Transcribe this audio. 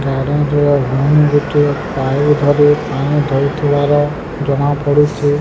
ଗୋଟିଏ ପାଇପ୍ ଧରି ପାଣି ଦୋଉଥିବାର ଜଣାପଡୁଛି।